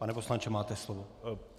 Pane poslanče, máte slovo.